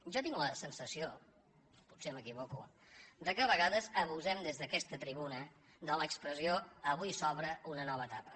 jo tinc la sensació potser m’equivoco que a vega·des abusem des d’aquesta tribuna de l’expressió avui s’obre una nova etapa